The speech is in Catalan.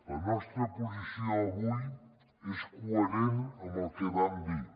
la nostra posició avui és coherent amb el que vam dir